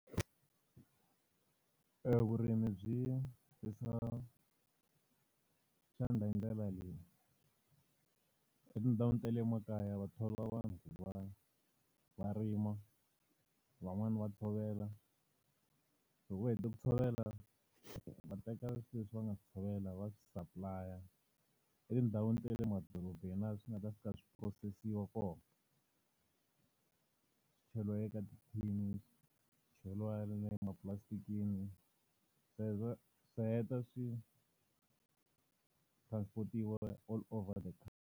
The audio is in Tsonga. Evurimi byi hoxa xandla hi ndlela leyi. Etindhawini ta le emakaya va thoriwa vanhu ku va va rima, van'wani va tshovela. Loko va hete ku tshovela va teka swilo leswi va nga tshovela va swi supply-a etindhawini ta le madorobeni laha swi nga ta fika swi phurosesiwa kona. Swi cheriwa eka tithini, swi cheriwa le mapulasitikini swi heta swi transport-iwa all over the .